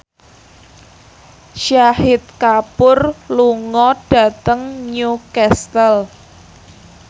Shahid Kapoor lunga dhateng Newcastle